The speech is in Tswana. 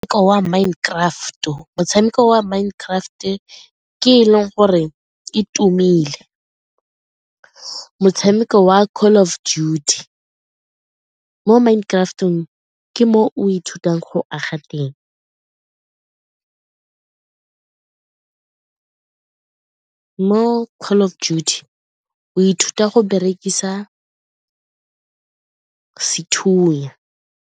Wa Mind Craft, motshameko wa Mind Craft ke e leng gore e tumile. Motshameko wa Call of Duty, mo Mind Craft-ong ke mo o ithutang go aga teng. Mo Call of Duty o ithuta go berekisa sethunya.